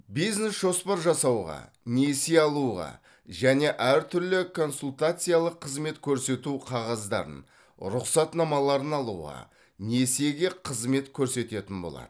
бизнес жоспар жасауға несие алуға және әртүрлі консультациялық қызмет көрсету қағаздарын рұқсатнамаларын алуға несиеге қызмет көрсететін болады